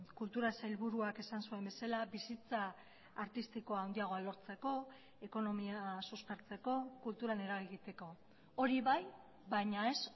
kultura sailburuak esan zuen bezala bizitza artistikoa handiagoa lortzeko ekonomia suspertzeko kulturan eragiteko hori bai baina ez